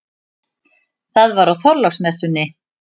Það var á Þorláksmessunni.